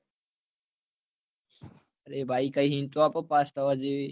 અરે ભાઈ કઈ hint તો આપો પાસ થવા જેવી